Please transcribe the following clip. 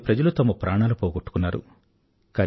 చాలామంది ప్రజలు తమ ప్రాణాలు పోగొట్టుకున్నారు